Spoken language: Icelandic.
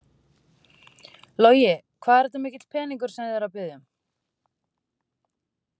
Logi: Hvað er þetta mikill peningur sem þið eruð að biðja um?